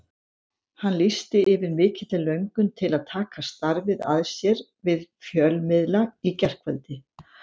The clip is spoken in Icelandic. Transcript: Hann lýsti yfir mikilli löngun til að taka starfið að sér við fjölmiðla í gærkvöldi.